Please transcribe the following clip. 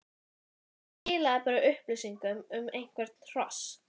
en það skilaði bara upplýsingum um eitthvert hross.